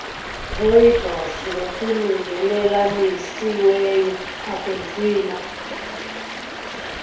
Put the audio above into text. rooibos ngokulungelelanisiweyo akunzima